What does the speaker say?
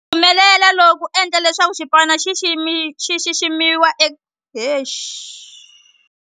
Ku humelela loku ku endle leswaku xipano lexi xi xiximiwa.